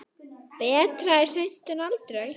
Betra er seint en aldrei.